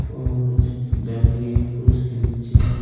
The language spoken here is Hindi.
और झरने उसके पीछे निचे--